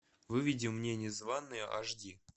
выведи мне незванные аш ди